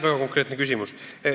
Väga konkreetne küsimus.